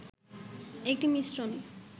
একটি মিশ্রণ